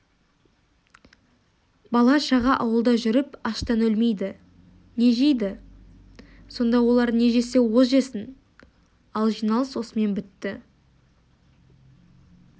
бала-шаға ауылда жүріп аштан өлмейді не жейді сонда олар не жесе о жесін ал жиналыс осымен бітті